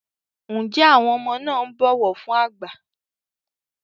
njé àwọn ọmọ na ń bó ọwọ fún àgbà?